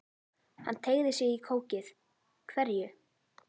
Hann teygði sig í kókið: Hverju?